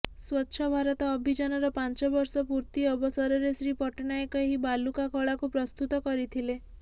ସ୍ୱଚ୍ଛ ଭାରତ ଅଭିଯାନର ପାଞ୍ଚ ବର୍ଷ ପୂର୍ତ୍ତି ଅବସରରେ ଶ୍ରୀ ପଟ୍ଟନାୟକ ଏହି ବାଲୁକା କଳାକୁ ପ୍ରସ୍ତୁତ କରିଥିଲେ